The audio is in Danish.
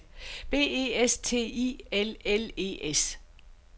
B E S T I L L E S